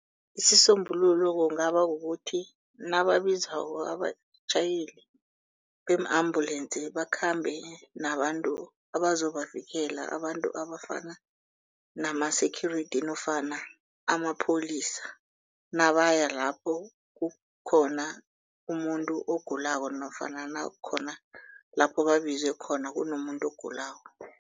Isisombululo kungaba kukuthi nababizako abatjhayeli bee-ambulensi bakhambe nabantu abazobavikela abantu abafana nama-security nofana amapholisa. Nabaya lapho kukhona umuntu ogulako nofana nakukhona lapho babizwe khona kunomuntu ogulako.